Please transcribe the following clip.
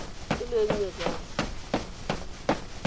e le e nnye jang